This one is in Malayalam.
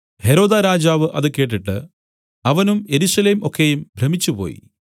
ഹെരോദാരാജാവ് അത് കേട്ടിട്ട് അവനും യെരൂശലേം ഒക്കെയും ഭ്രമിച്ചുപോയി